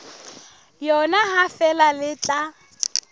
yona ha feela le tla